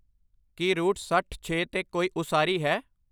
ਕੀ route ਸੱਠ ਛੇ 'ਤੇ ਕੋਈ ਉਸਾਰੀ ਹੈ